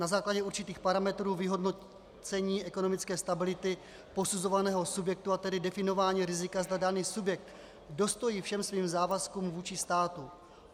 Na základě určitých parametrů vyhodnocení ekonomické stability posuzovaného subjektu, a tedy definování rizika, zda daný subjekt dostojí všem svým závazkům vůči státu.